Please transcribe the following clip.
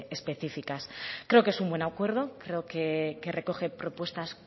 específicas creo que es un buen acuerdo creo que recoge propuestas